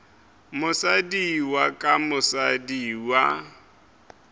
mosadi wa ka mosadi wa